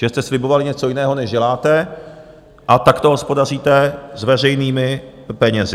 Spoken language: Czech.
Že jste slibovali něco jiného, než děláte, a takto hospodaříte s veřejnými penězi.